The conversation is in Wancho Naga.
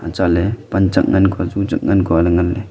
chat panchak ngan koy ju chak ngan koy ley ngan ley.